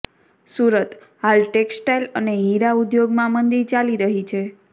સુરતઃ હાલ ટેક્સટાઈલ અને હીરા ઉદ્યોગમાં મંદી ચાલી રહી છે